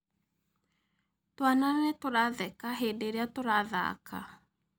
Twana nĩtũratheka hĩndĩ ĩrĩa tũrathaka